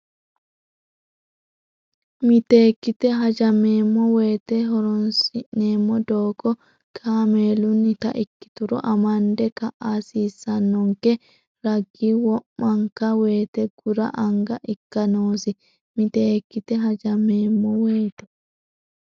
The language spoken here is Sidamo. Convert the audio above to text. Miteekkite hajameemmo woyite horoonsi neemmo doogo kaameelunnita ikkituro amande ka a hasiissannonke ragi wo manka woyite gura anga ikka noosi Miteekkite hajameemmo woyite.